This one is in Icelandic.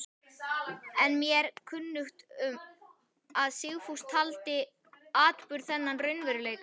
Er mér kunnugt um, að Sigfús taldi atburð þennan raunveruleika.